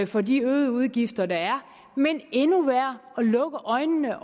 for de øgede udgifter der er men endnu værre lukke øjnene